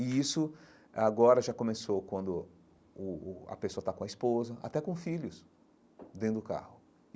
E isso agora já começou quando o o a pessoa está com a esposa, até com filhos, dentro do carro.